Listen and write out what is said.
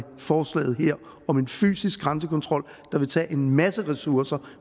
forslaget her om en fysisk grænsekontrol der vil tage en masse ressourcer